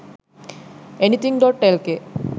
anything.lk